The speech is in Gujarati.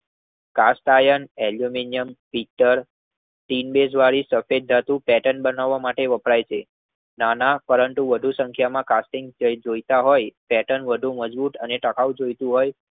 કાટ એલ્યૂમિનિયમ પીતળ ટીન બેગ વળી સફેદ પેર્ટન બાણાવ માટે વપરાય છે. નાના પરંતુ વધુ સંખ્યામાં કાર્ટિંગ જોયતા હોય પેર્ટન વધુ મજબૂત અને તાકૌ જોયતું હોય